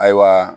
Ayiwa